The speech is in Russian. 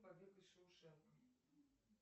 побег из шоушенка